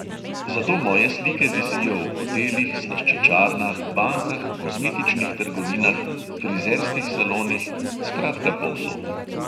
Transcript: Zato moje slike visijo v hotelih, slaščičarnah, bankah, kozmetičnih trgovinah, frizerskih salonih, skratka povsod.